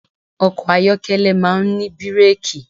Ọkọ̀ ayọ́kẹ́lẹ̀ máà ń ní bírẹ́kì.